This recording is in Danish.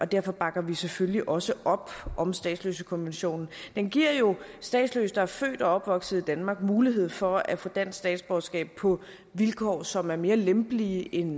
derfor bakker vi selvfølgelig også op om statsløsekonventionen den giver jo statsløse der er født og opvokset i danmark mulighed for at få dansk statsborgerskab på vilkår som er mere lempelige end